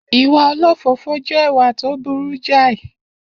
Iwa òlòfòfò je ìwà to burú jàì